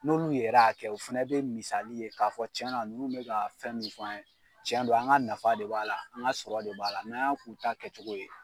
N'olu yɛr'a kɛ o fɛnɛ be misali ye k'a fɔ tiɲɛna nunnu bɛ ka fɛn min fɔ an ye tiɲɛn don an ŋa nafa de b'a la, an ŋa sɔrɔ de b'a la, n'an y'a k'u ta kɛcogo ye.